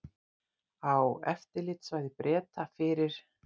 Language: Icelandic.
Á eftirlitssvæði Breta fyrir